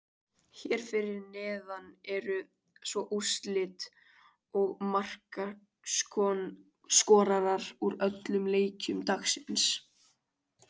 Hér fyrir neðan eru svo úrslit og markaskorarar úr öllum leikjum dagsins.